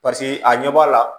paseke a ɲɛ b'a la